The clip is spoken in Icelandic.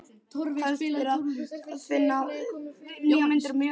Kveðst vera að vinna nýjar myndir mjög ólíkar þeim fyrri.